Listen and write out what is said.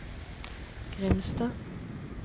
Grimstad